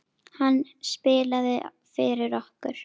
Hann spilaði fyrir okkur!